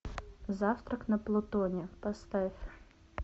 завтрак на плутоне поставь